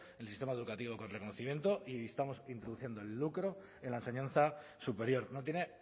el sistema educativo con reconocimiento y estamos introduciendo el lucro en la enseñanza superior no tiene